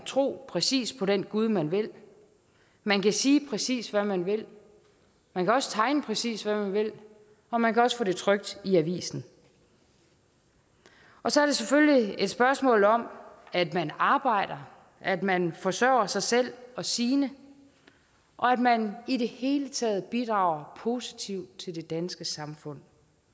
tro præcis på den gud man vil man kan sige præcis hvad man vil man kan også tegne præcis hvad man vil og man kan også få det trykt i avisen og så er det selvfølgelig et spørgsmål om at man arbejder at man forsørger sig selv og sine og at man i det hele taget bidrager positivt til det danske samfund